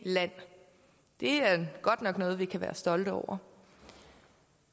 land det er godt nok noget vi kan være stolte over